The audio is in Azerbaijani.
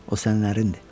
O sənlərindir.